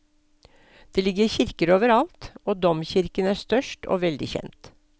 Det ligger kirker overalt, og domkirken er størst og veldig kjent.